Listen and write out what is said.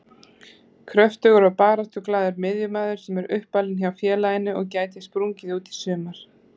Kröftugur og baráttuglaður miðjumaður sem er uppalinn hjá félaginu og gæti sprungið út í sumar.